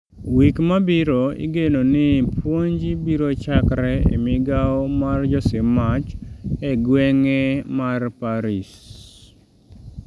Wik mabiro igeno ni puonj biro chakre e migawo mar josim mach e gweng'e mar Paris